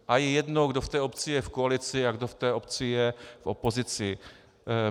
A je jedno, kdo v té obci je v koalici a kdo v té obci je v opozici.